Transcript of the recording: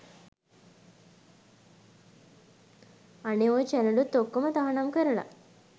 අනේ ඔය චැනලුත් ඔක්කොම තහනම් කරල